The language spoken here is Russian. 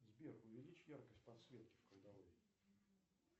сбер увеличь яркость подсветки в кладовой